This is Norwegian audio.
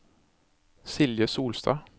Silje Solstad